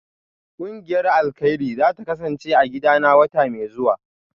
Kungiyar alkairi zata kasance a gidana wata mai zuwa